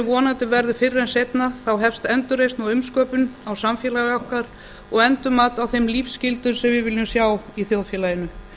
vonandi verður fyrr en seinna þá hefst endurreisn og umsköpun á samfélag okkar og endurmat á þeim lífsgildum sem við viljum sjá í þjóðfélaginu